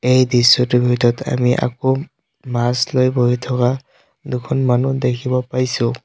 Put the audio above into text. এই দৃশ্যটোৰ ভিতৰত আমি আকৌ মাছ লৈ বহি থকা দুখন মানুহ দেখিব পাইছোঁ।